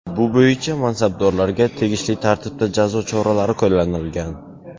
Bu bo‘yicha mansabdorlarga tegishli tartibda jazo choralari qo‘llanilgan.